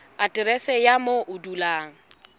aterese ya moo o dulang